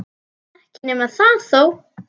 Ekki nema það þó!